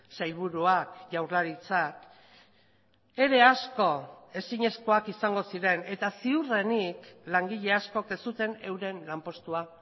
sailburuak jaurlaritzak ere asko ezinezkoak izango ziren eta ziurrenik langile askok ez zuten euren lanpostua